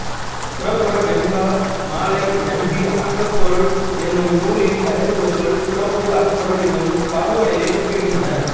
புறப்பொருள் வெண்பா மாலை நம்பி அகப்பொருள் என்னும் நூலின் தலைப்புகளும் புறப்பொருள் அகப்பொருள் என்னும் பாகுபாடுகளையே குறிப்பிடுகின்றன